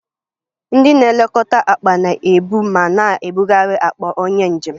Ndị na-elekọta akpa na-ebu ma na-ebugharị akpa onye njem